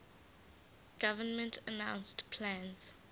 government announced plans